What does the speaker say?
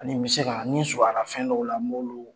Ani n bɛ se k'a, ni surunya na fɛn dɔw la, m'olu